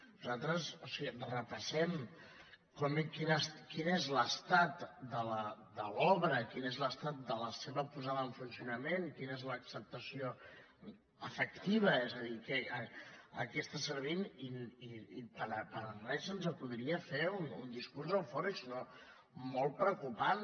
nosaltres o sigui repassem quin és l’estat de l’obra quin és l’estat de la seva posada en funcionament quina és l’acceptació efectiva és a dir a què està servint i per res se’ns acudiria fer un discurs eufòric sinó molt preocupant